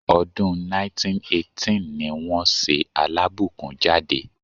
Ọdún 1918 ní wọ́n ṣe Alábùkún jáde.